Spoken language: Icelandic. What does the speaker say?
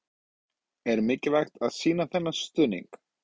Er mikilvægt að sýna þennan stuðning?